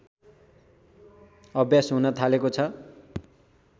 अभ्यास हुन थालेको छ